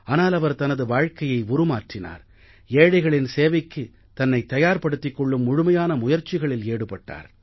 ஆனால் அவர் தனது வாழ்க்கையை உருமாற்றினார் ஏழைகளின் சேவைக்குத் தன்னை தயார் படுத்திக் கொள்ளும் முழுமையான முயற்சிகளில் ஈடுபட்டார்